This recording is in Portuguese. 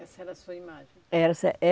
Essa era a sua imagem? É, essa